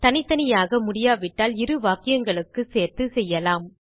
தனித்தனியாக முடியாவிட்டால் இரு வாக்கியங்களுக்குச் சேர்த்துச் செய்யலாம்